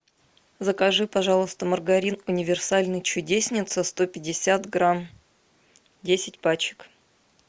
закажи пожалуйста маргарин универсальный чудесница сто пятьдесят грамм десять пачек